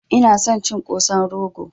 Ina son cin Kosan rogo